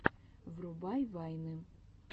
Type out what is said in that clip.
врубай вайны